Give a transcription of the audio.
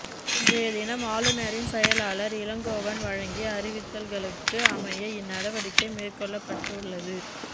இன்றைய தினம் ஆளுநரின் செயலாளர் இளங்கோவன் வழங்கிய அறிவித்தல்களுக்கு அமைய இந்நடவடிக்கை மேற்கொள்ளப்பட்டுள்ளது